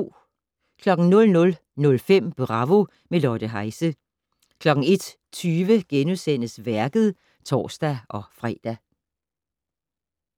00:05: Bravo - med Lotte Heise 01:20: Værket *(tor-fre)